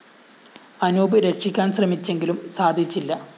അനൂപ് രക്ഷിക്കാന്‍ ശ്രമിച്ചെങ്കിലും സാധിച്ചില്ല